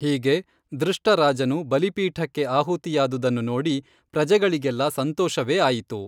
ಹೀಗೆ ದೃಷ್ಟ ರಾಜನು ಬಲಿಪೀಠಕ್ಕೆ ಆಹುತಿಯಾದುದನ್ನು ನೋಡಿ ಪ್ರಜೆಗಳಿಗೆಲ್ಲ ಸಂತೋಷವೇ ಆಯಿತು